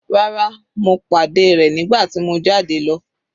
Rárá, mo pàdé rẹ̀ nígbà tí mo jáde lọ.